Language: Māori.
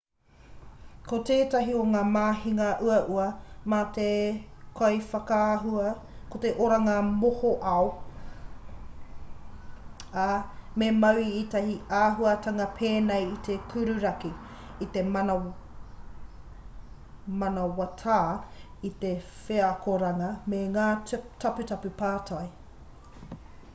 ko tētahi o ngā mahinga uaua mā te kaiwhakaahua ko te oranga mohoao ā me mau i ētahi āhuatanga pēnei i te kururaki i te manawatā i te wheakoranga me ngā taputapu papai